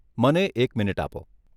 મને એક મિનિટ આપો.